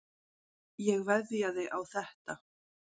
Ég veðjaði á þetta.